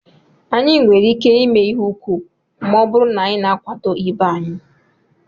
Anyị nwere ike ihe úkwú ma ọ bụrụ na anyị na-akwado ibe anyị